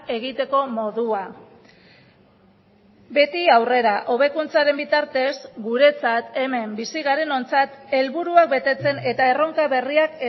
egiteko modua beti aurrera hobekuntzaren bitartez guretzat hemen bizi garenontzat helburuak betetzen eta erronka berriak